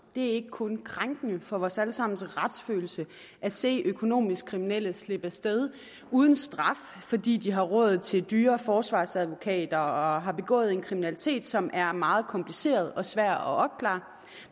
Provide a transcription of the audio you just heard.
det er ikke kun krænkende for vores alle sammens retsfølelse at se økonomisk kriminelle slippe af sted uden straf fordi de har råd til dyre forsvarsadvokater og har har begået en kriminalitet som er meget kompliceret og svær at opklare